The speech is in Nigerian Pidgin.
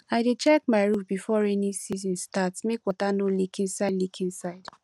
i dey check my roof before rainy season start make water no leak inside leak inside